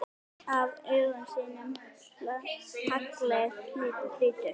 Af auga þínu haglið hrýtur.